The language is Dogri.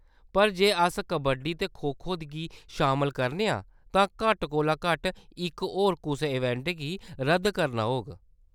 पर जे अस कबड्डी ते खो-खो गी शामल करने आं, तां घट्ट कोला घट्ट इक होर कुसै इवेंट गी रद्द करना होग।